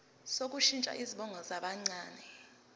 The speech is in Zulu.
sokushintsha izibongo zabancane